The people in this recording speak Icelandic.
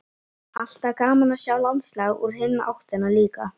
Alltaf gaman að sjá landslag úr hinni áttinni líka.